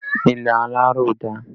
Ilé aláró dà?